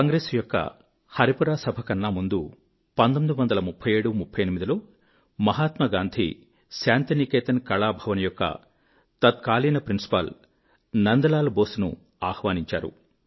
కాంగ్రెస్ యొక్క హరిపురా సభకన్నా ముందు 193738 లో మహాత్మా గాంధీ శాంతినికేతన్ కళాభవన్ యొక్క తత్కాలీన ప్రిన్సిపాల్ నందలాల్ బోస్ ను ఆహ్వానించారు